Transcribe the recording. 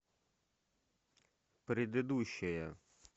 предыдущая